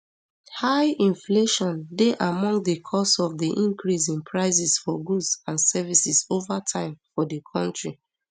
high inflation dey among di cause of di increase in prices for goods and services over time for di kontri